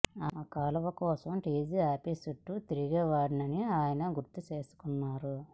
ఆ కాలువ కోసం టీజీ ఆఫీసు చుట్టూ తిరుగివాడినని ఆయన గుర్తు చేసుకొన్నారు